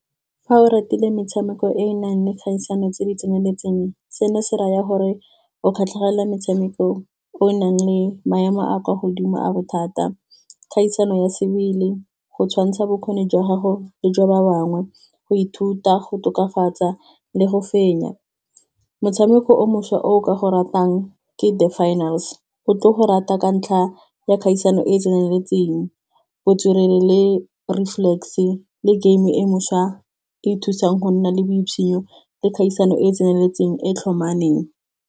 Fa o ratile metshameko e e nang le kgaisano tse di tseneletseng, seno se raya gore o kgatlhegela metshameko o nang le maemo a kwa godimo a bothata. Kgaisano ya sebele, go tshwantsha bokgoni jwa gago le jwa ba bangwe, go ithuta go tokafatsa le go fenya. Motshameko o mošwa o ka go ratang ke the finals, o tlo go rata ka ntlha ya kgaisano e e tseneletseng botswerere le reflex le game e mošhwa e e thusang go nna le le kgaisano e e tseneletseng e tlhomameng.